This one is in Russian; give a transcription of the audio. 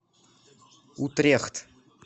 утрехт